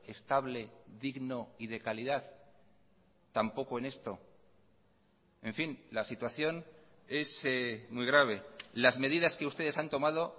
estable digno y de calidad tampoco en esto en fin la situación es muy grave las medidas que ustedes han tomado